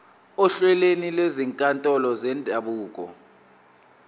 ohlelweni lwezinkantolo zendabuko